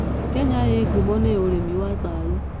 Kenya ĩĩ ngumo nĩ ũrĩmi wa cai.